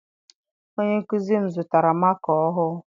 Onye nkụzi m zụtara maka ọhụụ.